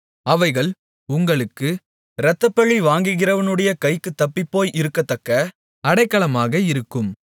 அவைகள் உங்களுக்கு இரத்தப்பழி வாங்குகிறவனுடைய கைக்குத் தப்பிப்போய் இருக்கத்தக்க அடைக்கலமாக இருக்கும்